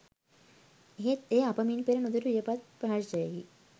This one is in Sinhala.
එහෙත් එය අප මින් පෙර නුදුටු වියපත් ප්‍රහර්ෂයකි